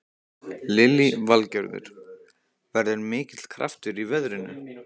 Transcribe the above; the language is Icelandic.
Lillý Valgerður: Verður mikill kraftur í veðrinu?